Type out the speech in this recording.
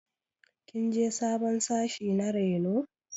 Kin je sabon sashi na reno?